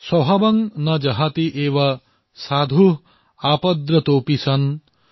স্ব ভাৱং ন জহাতি এব সাধুঃ আপদ্ৰতোপি সন